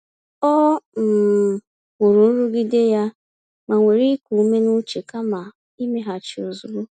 Ọ um hụrụ nrụgide ya ma were iku ume n’uche kama imeghachi ozugbo.